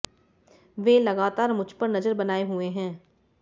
वे लगातार मुझ पर नजर बनाए हुए है